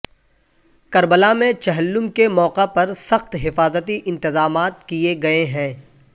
کربلا میں چہلم کے موقع پر سخت حفاظتی انتظامات کیے گئے ہیں